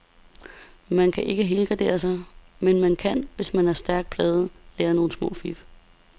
Man kan ikke helgardere sig, men man kan, hvis man er stærkt plaget, lære nogle små fif.